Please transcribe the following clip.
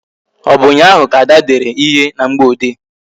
Ọ bụ ụnyaahụ ka Ada dere ihe na mgboode?